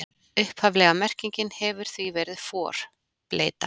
Upphaflega merkingin hefur því verið for, bleyta.